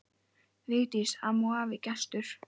Vigdís amma og afi Gestur.